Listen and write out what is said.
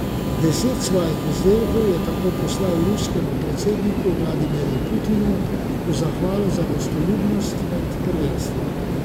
Deset svojih izdelkov je tako poslal ruskemu predsedniku Vladimirju Putinu v zahvalo za gostoljubnost med prvenstvom.